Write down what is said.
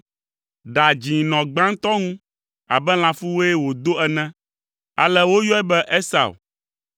Ɖa dzĩ nɔ gbãtɔ ŋu abe lãfuwue wòdo ene! Ale woyɔe be “Esau.”